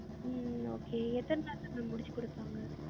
ஹம் ஹம் okay எத்தன நாள்ல அத ma'am முடிச்சு குடுப்பிங்க